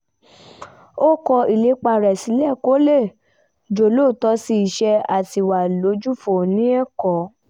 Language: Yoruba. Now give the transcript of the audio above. ó kọ àwọn ìlépa rẹ̀ sílẹ̀ kó lè jólóòtọ́ sí iṣẹ́ àti wà lójúfò ní ẹ̀kọ́